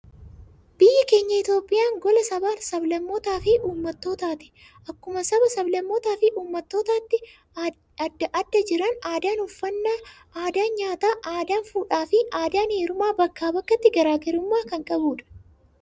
Biyyi keenya Itoophiyaan, gola sabaa sablammootaa fi uummattootaati. Akkuma saba sablammootaa fi uummattootaati addaa addaa jiran, aadaan uffaannaa, aadaan nyaataa, aadaan fuudhaa fi aadaan heerumaa bakka bakkatti garaagarummaa kan qabuudha.